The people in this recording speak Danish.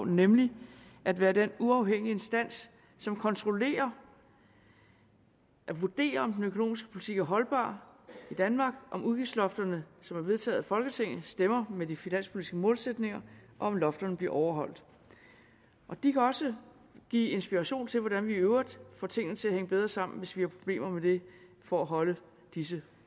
nemlig at være den uafhængige instans som kontrollerer og vurderer om den økonomiske politik er holdbar i danmark om udgiftslofterne som er vedtaget af folketinget stemmer med de finanspolitiske målsætninger og om lofterne bliver overholdt de kan også give inspiration til hvordan vi i øvrigt får tingene til at hænge bedre sammen hvis vi har problemer med det for at holde disse